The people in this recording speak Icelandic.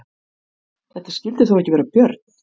Þetta skyldi þó ekki vera björn?